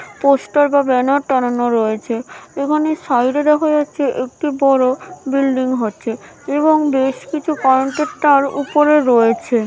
Poster বা banner টানানো রয়েছে এখানে সাইড এদেখা যাচ্ছে একটি বড়ো বিল্ডিং হচ্ছে এবং বেশ কিছু কনটেকটর ওপরে রয়েছে ।